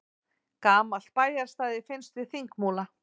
Gamalt bæjarstæði finnst við Þingmúla